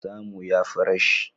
Samu ya fi rashi